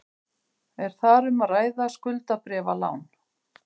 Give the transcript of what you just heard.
Er þar um að ræða skuldabréfalán